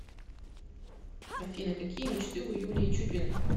афина какие мечты у юлии чупиной